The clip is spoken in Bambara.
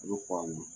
I bɛ kɔn a ma